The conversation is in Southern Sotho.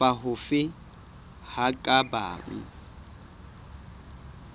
kapa hofe ho ka bang